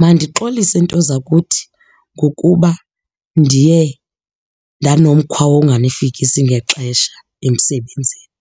Mandixolise nto zakuthi ngokuba ndiye ndanomkhwa wonganifikisi ngexesha emsebenzini.